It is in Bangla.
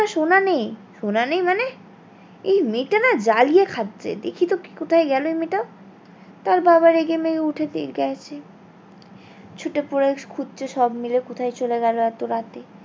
সোনা নেই সোনা নেই মানে এই মেয়েটা না জ্বালিয়ে খাচ্ছে দেখি তো কোথায় গেলো মেয়েটা তার বাবা রেগে মেগে উঠে গেছে ছুটে খুঁজছে সব মিলে কোথায় চলে গেলো এতো রাতে।